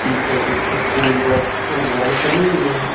पीछे कुछ school bus और वैन खड़ी हुई हैं।